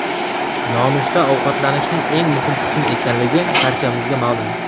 Nonushta ovqatlanishning eng muhim qismi ekanligi barchamizga ma’lum.